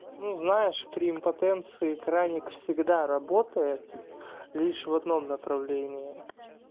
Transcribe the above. ну знаешь при импотенции краник всегда работает лишь в одном направлении